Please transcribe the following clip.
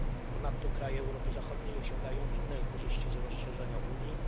Ponadto kraje Europy Zachodniej osiągają inne korzyści z rozszerzenia Unii.